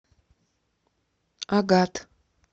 агат